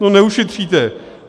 No neušetříte.